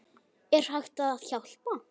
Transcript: Er hægt að hjálpa?